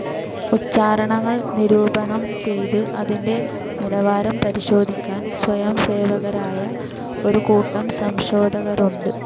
ഉച്ചാരണങ്ങൾ നിരൂപണം ചെയ്ത് അതിന്റെ നിലാവാരം പരിശോധിക്കാൻ സ്വയംസേവകരായ ഒരു കൂട്ടം സംശോധകരുമുണ്ട്.